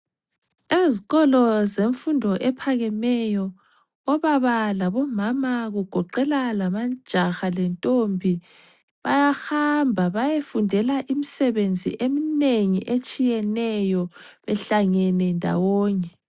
Ezikolo zemfundo ephakemeyo obaba labomama kugoqela lamajaha lentombi bayahamba bayefundela imisebenzi eminengi etshiyeneyo behlangene ndawonye.